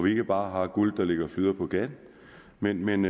ikke bare har guld der ligger og flyder på gaden men men